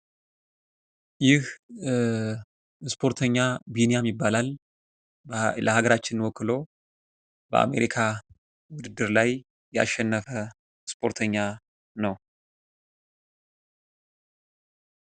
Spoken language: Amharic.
ይህ ስፖርተኛ ቢንያም ይባላል። ለሀገራችን ወክሎ በአሜሪካ ውድድር ላይ ያሸነፈ ስፖርተኛ ነው።